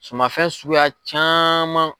Sumanfɛn suguya caman.